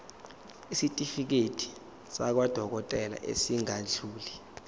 isitifiketi sakwadokodela esingadluli